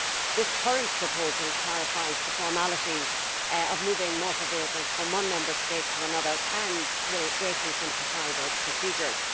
This current proposal clarifies the formalities of moving motor vehicles from one Member State to another, and will greatly simplify those procedures.